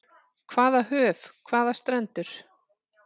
Hvaða höf, hvaða strendur.